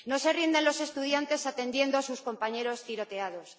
No se rinden los estudiantes atendiendo a sus compañeros tiroteados.